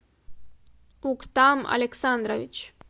уктам александрович